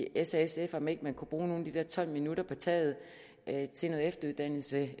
s og sf om ikke man kunne bruge nogle af de tolv minutter på taget til noget efteruddannelse